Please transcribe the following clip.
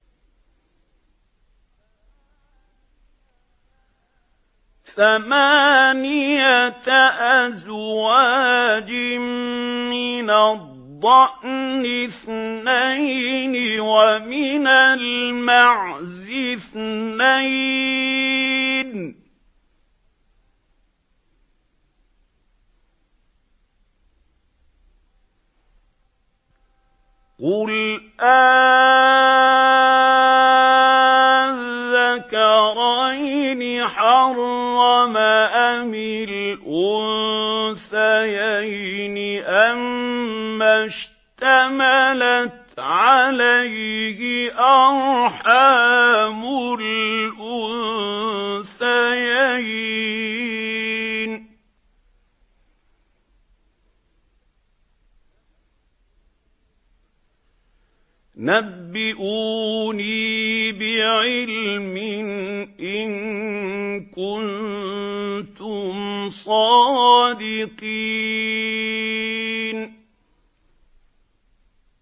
ثَمَانِيَةَ أَزْوَاجٍ ۖ مِّنَ الضَّأْنِ اثْنَيْنِ وَمِنَ الْمَعْزِ اثْنَيْنِ ۗ قُلْ آلذَّكَرَيْنِ حَرَّمَ أَمِ الْأُنثَيَيْنِ أَمَّا اشْتَمَلَتْ عَلَيْهِ أَرْحَامُ الْأُنثَيَيْنِ ۖ نَبِّئُونِي بِعِلْمٍ إِن كُنتُمْ صَادِقِينَ